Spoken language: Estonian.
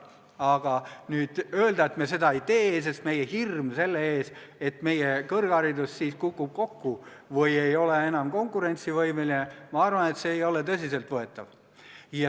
Aga nüüd öelda, et me seda ei tee, sest meie hirm selle ees, et meie kõrgharidus kukub siis kokku või ei ole enam konkurentsivõimeline – ma arvan, et see ei ole tõsiselt võetav.